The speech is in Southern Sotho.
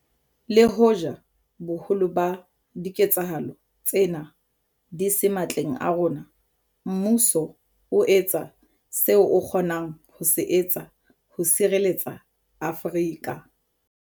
Le hoja boholo ba diketsahalo tsena di se matleng a rona, mmuso o etsa seo o kgonang ho se etsa ho sireletsa Afrika.